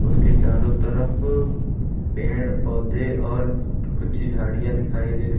उसके चारों तरफ पेड़ पौधे और कुछ झाड़ियां दिखाई दे रही--